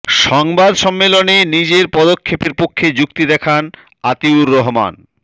সংবাদ সম্মেলনে নিজের পদক্ষেপের পক্ষে যুক্তি দেখান আতিউর রহমান